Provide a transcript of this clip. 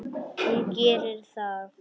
Hún gerir það.